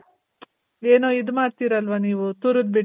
ಏನೊ ಇದು ಮಾಡ್ತೀರಲ್ವ ನೀವು ತುರುದ್ಬಿಟ್ಟು,